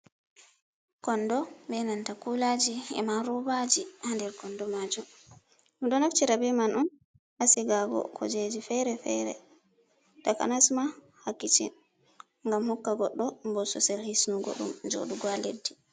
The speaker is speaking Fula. Kondo be nanta kulaaji, e ma robaaji, haa nder kondo maajum, ɗum ɗo naftira be man on hasigago kujeji fere-fere, takanas ma haa kishen, ngam hokka goɗɗo bo sosel hisnugo ɗum jooɗugo haa leɗɗi.